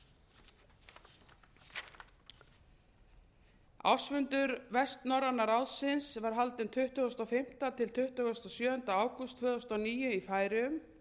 þrjú prósent ársfundur vestnorræna ráðsins var haldinn tuttugasta og fimmta til tuttugasta og sjöunda ágúst tvö þúsund og níu í færeyjum